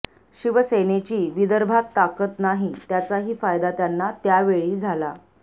शिवसेनेची विदर्भात ताकद नाही त्याचाही फायदा त्यांना त्यावेळी झाला